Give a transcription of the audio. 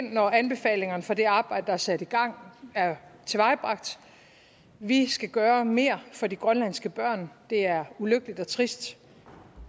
når anbefalingerne fra det arbejde der er sat i gang er tilvejebragt vi skal gøre mere for de grønlandske børn det er ulykkeligt og trist